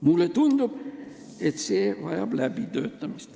Mulle tundub, et see idee vajab läbitöötamist.